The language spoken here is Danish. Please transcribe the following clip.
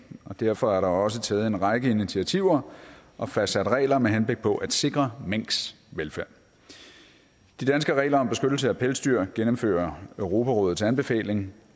og derfor er der også taget en række initiativer og fastsat regler med henblik på at sikre minks velfærd de danske regler om beskyttelse af pelsdyr gennemfører europarådets anbefalinger